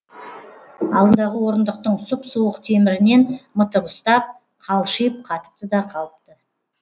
алдындағы орындықтың сұп суық темірінен мытып ұстап қалшиып қатыпты да қалыпты